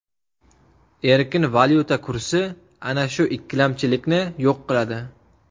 Erkin valyuta kursi ana shu ikkilamchilikni yo‘q qiladi.